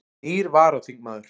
Nýr varaþingmaður